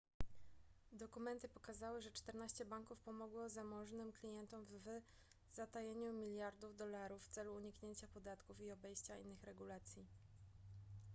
dokumenty pokazały że czternaście banków pomogło zamożnym klientom w zatajeniu miliardów dolarów w celu uniknięcia podatków i obejścia innych regulacji